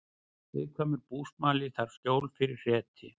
Viðkvæmur búsmali þarf skjól fyrir hreti